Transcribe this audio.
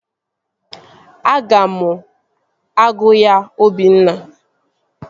Aga m agụ ya Obinna